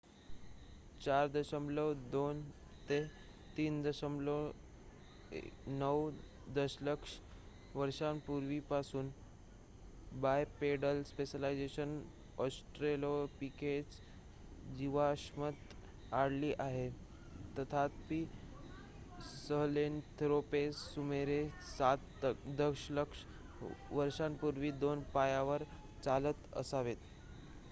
4.2-3.9 दशलक्ष वर्षांपूर्वीपासून bipedal specialisation Australopithecus जीवाश्मात आढळली आहे तथापि सहेलंथ्रोपस सुमारे 7 दशलक्ष वर्षांपूर्वी 2 पायावर चालत असावेत